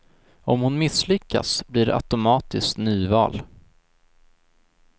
Om hon misslyckas blir det automatiskt nyval.